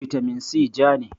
bitamin si ja ne